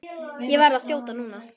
Ég verð að þjóta núna.